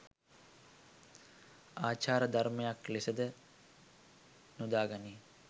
ආචාර ධර්මයක් ලෙසද යොදා ගනී